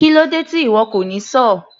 Kílódé tí ìwo kò ní sọ́ọ̀?